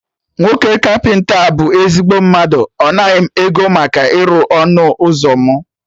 Nwoke kapịnta a bụ ezigbo mmadụ, ọ naghị m ego maka ịrụ ọnụ ụzọ mụ